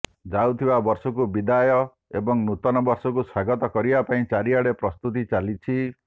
ଯାଉଥିବା ବର୍ଷକୁ ବିଦାୟ ଏବଂ ନୂତନ ବର୍ଷକୁ ସ୍ୱାଗତ କରିବା ପାଇଁ ଚାରିଆଡ଼େ ପ୍ରସ୍ତୁତି ଚାଲିଛି